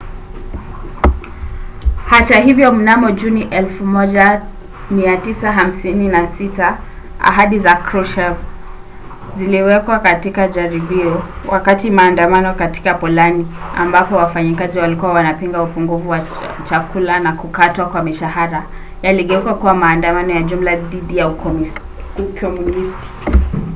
hata hivyo mnamo juni 1956 ahadi za kruschev ziliwekwa katika jaribio wakati maandamano katika polandi ambapo wafanyakazi walikuwa wakipinga upungufu wa chakula na kukatwa kwa mishahara yaligeuka kuwa maandamano ya jumla dhidi ya ukomunisti